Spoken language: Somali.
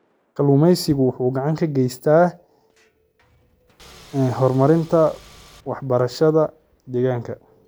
Kalluumaysigu waxa uu gacan ka geystaa horumarinta waxbarashada deegaanka.